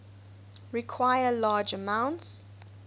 require large amounts